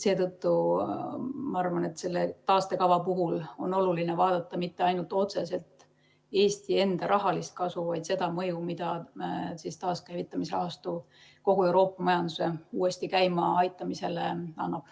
Seetõttu ma arvan, et selle taastekava puhul on oluline vaadata mitte ainult otseselt Eesti enda rahalist kasu, vaid ka seda mõju, mida taaskäivitamise rahastu kogu Euroopa majanduse uuesti käima aitamisele avaldab.